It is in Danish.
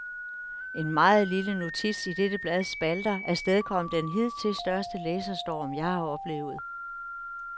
En meget lille notits i dette blads spalter afstedkom den hidtil største læserstorm, jeg har oplevet.